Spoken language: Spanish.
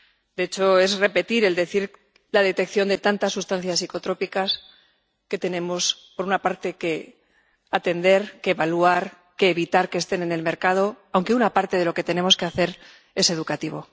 De hecho es repetir hablar sobre la detección de tantas sustancias psicotrópicas que tenemos, por una parte, que atender, evaluar y evitar que estén en el mercado, aunque una parte de lo que tenemos que hacer es educativo.